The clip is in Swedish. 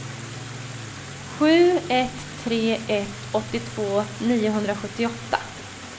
sju ett tre ett åttiotvå niohundrasjuttioåtta